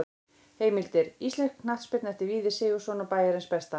Heimildir: Íslensk knattspyrna eftir Víði Sigurðsson og Bæjarins besta.